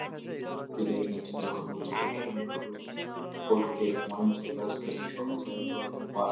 ইনারা এখানে পুজো দেয় ইনাদের ধর্ম হচ্ছে খ্রিস্টান ধর্ম এনারা কলকাতায় এরকম অনেক জায়গা আছে যেখানে সবাই সবার বা আম্পা --